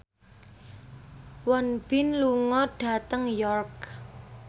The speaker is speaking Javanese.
Won Bin lunga dhateng York